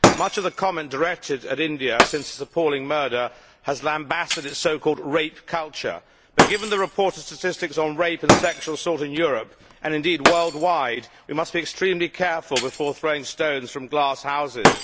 Much of the comment directed at India since this appalling murder has lambasted its so called rape culture', but given the report's statistics on rape and sexual assault in Europe, and indeed worldwide, we must be extremely careful before throwing stones from glass houses.